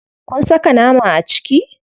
Kun saka nama a ciki?